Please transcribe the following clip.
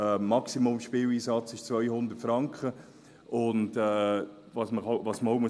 Der Maximalspieleinsatz beträgt 200 Franken, und was man auch sagen muss: